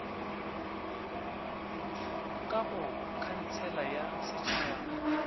ka go khansele ya setšhaba